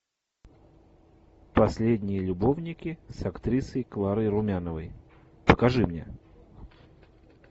последние любовники с актрисой кларой румяновой покажи мне